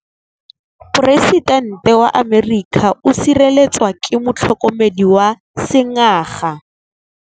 Poresitêntê wa Amerika o sireletswa ke motlhokomedi wa sengaga.